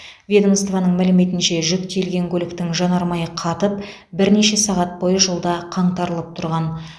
ведомствоның мәліметінше жүк тиелген көліктің жанармайы қатып бірнеше сағат бойы жолда қаңтарылып тұрған